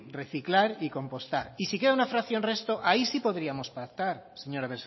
reciclar y compostar y si queda una fracción resto ahí sí podríamos pactar señora